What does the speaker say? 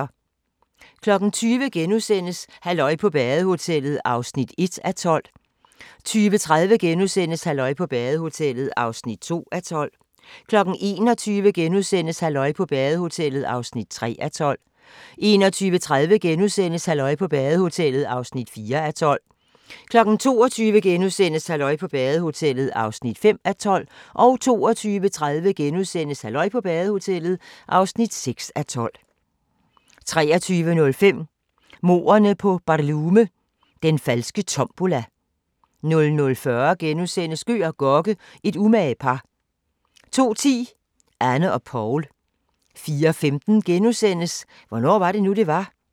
20:00: Halløj på badehotellet (1:12)* 20:30: Halløj på badehotellet (2:12)* 21:00: Halløj på badehotellet (3:12)* 21:30: Halløj på badehotellet (4:12)* 22:00: Halløj på badehotellet (5:12)* 22:30: Halløj på badehotellet (6:12)* 23:05: Mordene på BarLume – Den falske tombola 00:40: Gøg og Gokke – et umage par * 02:10: Anne og Poul 04:15: Hvornår var det nu, det var?